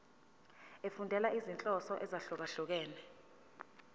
efundela izinhloso ezahlukehlukene